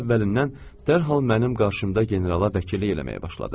əvvəlindən dərhal mənim qarşımda generala vəkillik eləməyə başladı.